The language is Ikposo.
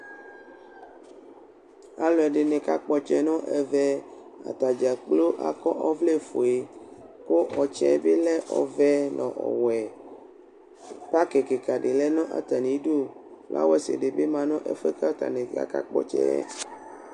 Alʋ ɛdɩnɩ ka kpɔ ɔtsɛ nʋ ɛvɛ Ata dza kplo akɔ ɔvlɛ ofue kʋ ɔtsɛ yɛ bɩ lɛ ɔvɛ nʋ ɔwɛ Pakɩ kɩka dɩ lɛ nʋ atmɩ ɩdʋ Flawɛsɩ dɩ bɩ ma nʋ ɛfʋ yɛ kʋ atanɩ bɩ aka lpɔ ɔtsɛ yɛ